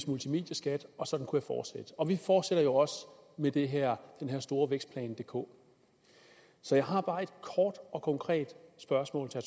multimedieskat og sådan kunne jeg fortsætte og vi fortsætter jo også med den her store vækstplan dk så jeg har bare et kort og konkret spørgsmål til